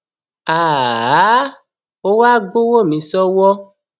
háà ha háàá ó wá gbowó mi sọwọ